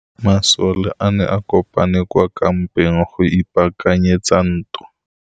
Masole a ne a kopane kwa kampeng go ipaakanyetsa ntwa.